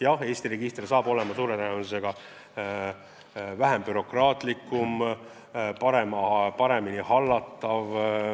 Jah, Eesti register saab ilmselt olema vähem bürokraatlik, paremini hallatav ja